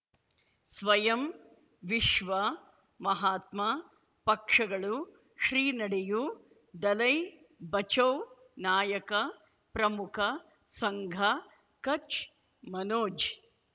ಸ್ವಯಂ ವಿಶ್ವ ಮಹಾತ್ಮ ಪಕ್ಷಗಳು ಶ್ರೀ ನಡೆಯೂ ದಲೈ ಬಚೌ ನಾಯಕ ಪ್ರಮುಖ ಸಂಘ ಕಚ್ ಮನೋಜ್